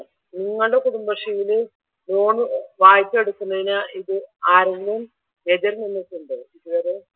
നിങ്ങളുടെ കുടുംബശ്രീയിൽ ലോൺ വായ്പ എടുക്കുന്നതിന് ആരെങ്കിലും എതിർ നടന്നിട്ടുണ്ടോ ഇതുവരെ?